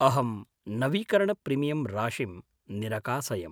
अहं नवीकरणप्रिमियम् राशिम् निरकासयम्।